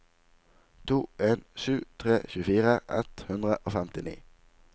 to en sju tre tjuefire ett hundre og femtini